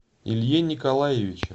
илье николаевиче